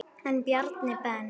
En Bjarni Ben.